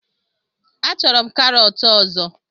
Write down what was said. Achọrọ m karọt ọzọ